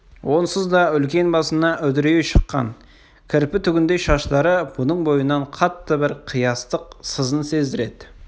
онсыз да үлкен басына үдірейе шыққан кірпі түгіндей шаштары бұның бойынан қатты бір қиястық сызын сездіреді